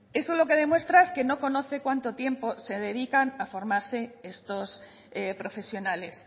eso lo que demuestra es que no conoce cuánto tiempo se dedican a formarse estos profesionales